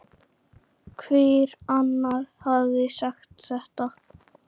Hver annar hefði sagt þetta?